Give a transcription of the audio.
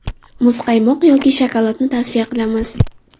Muzqaymoq yoki shokoladni tavsiya qilamiz.